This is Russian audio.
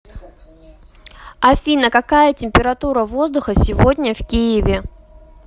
афина какая температура воздуха сегодня в киеве